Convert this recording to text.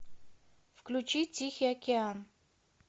включи тихий океан